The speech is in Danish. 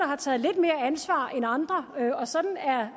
har taget lidt mere ansvar end andre og sådan er